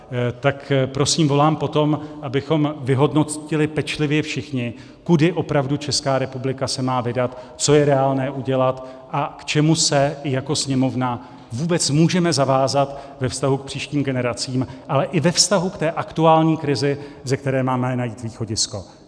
Tak prosím volám po tom, abychom vyhodnotili pečlivě všichni, kudy opravdu Česká republika se má vydat, co je reálné udělat a k čemu se jako Sněmovna vůbec můžeme zavázat ve vztahu k příštím generacím, ale i ve vztahu k té aktuální krizi, ze které máme najít východisko.